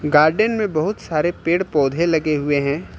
Garden में बहुत सारे पेड़ पौधे लगे हुए हैं।